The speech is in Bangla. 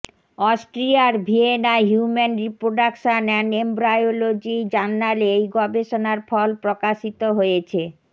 অস্ট্রিয়ার ভিয়েনায় হিউম্যান রিপ্রোডাকশন অ্যান্ড এমব্রায়োলজি জার্নালে এই গবেষণার ফল প্রকাশিত হয়েছে